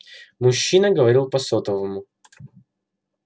мужчина говорил по сотовому